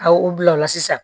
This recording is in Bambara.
A u bila o la sisan